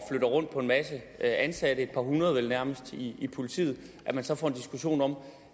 rundt på en masse ansatte et par hundrede vel nærmest i politiet så